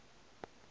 ye go ya go ye